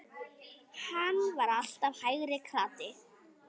Hann var alltaf hægri krati!